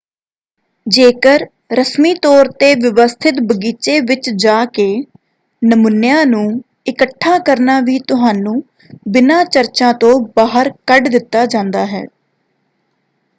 ਜੇਕਰ ਰਸਮੀ ਤੌਰ 'ਤੇ ਵਿਵਸਥਿਤ ਬਗੀਚੇ ਵਿੱਚ ਜਾ ਕੇ ਨਮੂਨਿਆਂ ਨੂੰ ਇੱਕਠਾ ਕਰਨਾ ਵੀ ਤੁਹਾਨੂੰ ਬਿਨਾਂ ਚਰਚਾ ਤੋਂ ਬਾਹਰ ਕੱਢ ਦਿੱਤਾ ਜਾਂਦਾ ਹੈ।